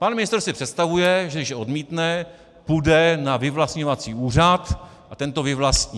Pan ministr si představuje, že když odmítne, půjde na vyvlastňovací úřad a ten to vyvlastní.